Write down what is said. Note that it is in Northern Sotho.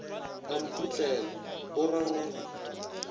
a mphotlela o ra go